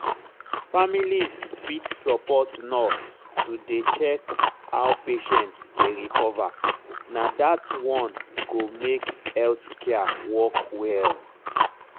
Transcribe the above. families fit support nurse to dey check how patient dey recover na dat one go make health care work well.